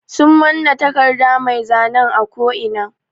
Sun mana taƙarda mai zanen a ƙo ina.